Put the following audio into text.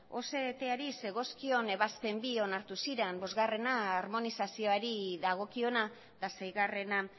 zegozkion ebazpen bi onartu ziren bosgarrena armonizazioari dagokiona eta seigarrena